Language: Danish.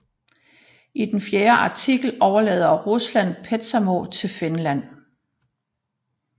I den fjerde artikel overlader Rusland Petsamo til Finland